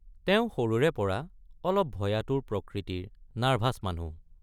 তেওঁ সৰুৰেপৰা অলপ ভয়াতুৰ প্ৰকৃতিৰ nervous মানুহ।